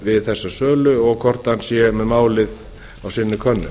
við þessa sölu og hvort hann sé með málið á sinni könnu